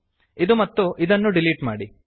ಇದು ಮತ್ತು ಇದನ್ನು ಡಿಲೀಟ್ ಮಾಡಿ